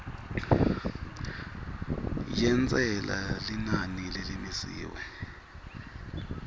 yentsela linani lelimisiwe